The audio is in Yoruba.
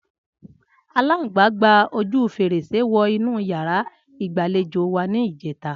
Aláǹgbá gba ojú fèrèsé wọ inú yàrá ìgbàlejò wa ní ìjẹ́ta